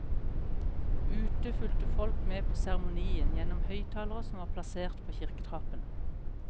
Ute fulgte folk med på seremonien gjennom høyttalere som var plassert på kirketrappen.